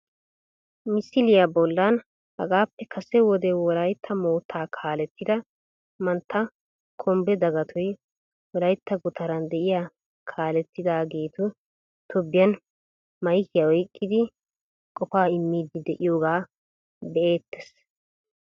Misiliya bollan hagaappe kase wode wolaytta moottaa kaalettida mantta kombbe dagatoy wolaytta gutaran de'iya kaalettitageetu tobbiyan maykiya oykkidi qofaa immiiddi de"iyogaa be"eettees